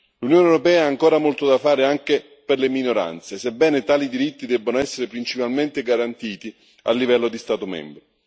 L'Unione europea ha ancora molto da fare anche per le minoranze, sebbene tali diritti debbano essere principalmente garantiti a livello di Stato membro.